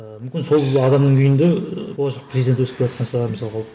мүмкін сол адамның үйінде болашақ президент өсіп келе жатқан шығар мысалға ол